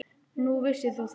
Nú, vissir þú það?